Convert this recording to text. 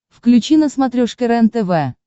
включи на смотрешке рентв